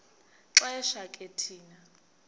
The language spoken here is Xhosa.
xesha ke thina